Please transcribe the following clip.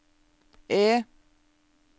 E